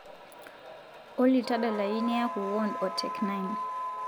olly tadalayu niyaku warned o tech nine